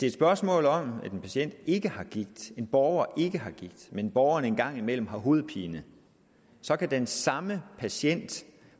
et spørgsmål om at en patient ikke har gigt en borger ikke har gigt men borgeren en gang imellem har hovedpine så kan den samme patient